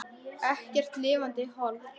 Ekkert lifandi hold.